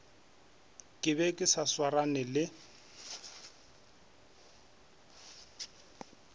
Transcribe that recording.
ke be ke sa swarane